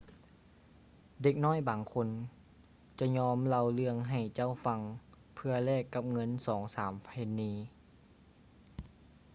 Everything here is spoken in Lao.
ເດັກນ້ອຍບາງຄົນຈະຍອມເລົ່າເລື່ອງໃຫ້ເຈົ້າຟັງ ເພື່ອແລກກັບເງິນສອງສາມເພັນນີ